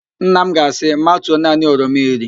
Nna m ga-asị, matuo naanị oroma iri